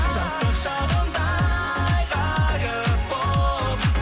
жастық шағымдай ғайып болып